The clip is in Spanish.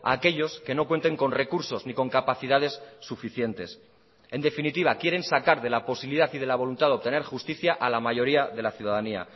a aquellos que no cuenten con recursos ni con capacidades suficientes en definitiva quieren sacar de la posibilidad y de la voluntad de obtener justicia a la mayoría de la ciudadanía